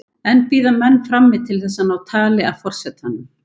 Enn bíða menn frammi til þess að ná tali af forsetanum.